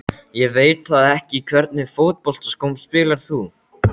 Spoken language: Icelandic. Ég veit það ekki Í hvernig fótboltaskóm spilar þú?